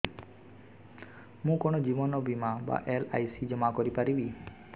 ମୁ କଣ ଜୀବନ ବୀମା ବା ଏଲ୍.ଆଇ.ସି ଜମା କରି ପାରିବି